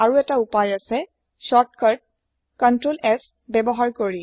আৰু এটা উপায় হৈছে ছৰ্ত কাত কন্ট্ৰল S ব্যৱহাৰ কৰি